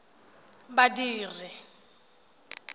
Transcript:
badiri